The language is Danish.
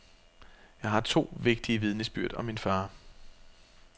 Jeg har to vigtige vidnesbyrd om min far.